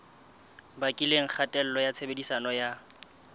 bakileng kgatello ya tshebediso ya